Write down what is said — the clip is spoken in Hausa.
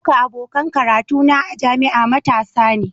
Duka abokan karatu na a jami'a matasa ne.